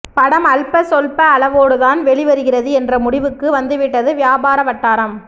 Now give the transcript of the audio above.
படம் அல்ப சொல்ப அளவோடுதான் வெளிவருகிறது என்ற முடிவுக்கு வந்துவிட்டது வியாபார வட்டாரம்